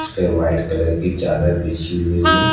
इसपे white colour की चादर बिछी हुई है।